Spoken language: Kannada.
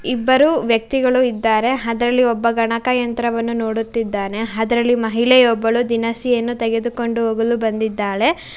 ಇಬ್ಬರು ವ್ಯಕ್ತಿಗಳು ಇದ್ದಾರೆ ಅದರಲ್ಲಿ ಒಬ್ಬ ಗಣಕಯಂತ್ರವನ್ನು ನೋಡುತ್ತಿದ್ದಾನೆ ಅದರಲ್ಲಿ ಒಬ್ಬ ಮಹಿಳೆ ದಿನಸಿಯನ್ನು ತೆಗೆದುಕೊಂಡು ಹೋಗಲು ಬಂದಿದ್ದಾಳೆ.